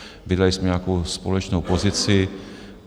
Vydali jsme nějakou společnou pozici.